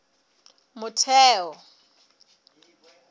motheo